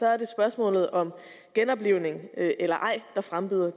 er det spørgsmålet om genoplivning eller ej der frembyder